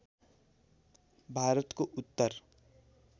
भारतको उत्तर